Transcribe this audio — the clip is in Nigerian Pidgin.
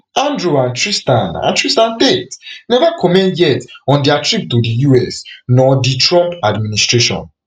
andrew and tristan and tristan tate never comment yet on dia trip to di us nor di trump administration